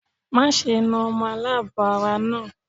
Má ṣe na ọmọ aláàbọ̀ ara náà.